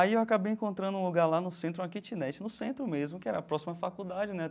Aí eu acabei encontrando um lugar lá no centro, uma kitnet, no centro mesmo, que era próxima a faculdade, né?